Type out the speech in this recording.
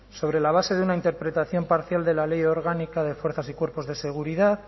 sobre la base de una interpretación parcial de la ley orgánica de fuerzas y cuerpos de seguridad